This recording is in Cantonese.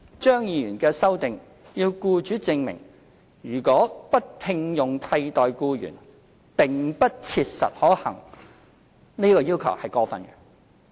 張議員的修正案要僱主證明如果不聘用替代僱員並不切實可行，這項要求是過分的。